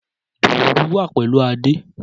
Dùùrù wa pẹlu Ade.